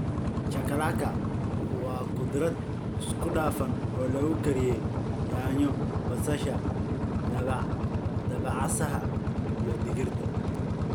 Chakalaka waa khudrad isku dhafan oo lagu kariyey yaanyo, basasha, dabacasaha, iyo digirta.